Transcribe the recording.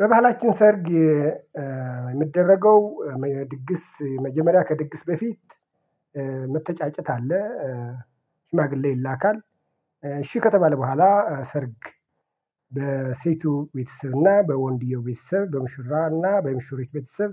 በባህላችን ሰርግ የሚደረገው ድግስ መጀመሪያ ከድግስ በፊት መተጫጨት አለ። ሽማግሌ ይላካል እሺ ከተባለ በኋላ ሰርግ በሴቱ ቤተሰብ እና በወንድየው ቤተሰብ በምሽራ እና በምሽሪት ቤተሰብ